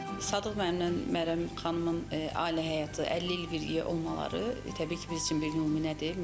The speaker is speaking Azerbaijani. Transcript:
Sadıq müəllimlə Məryəm xanımın ailə həyatı, 50 il birgə olmaları təbii ki, biz üçün bir nümunədir.